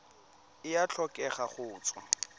e a tlhokega go tswa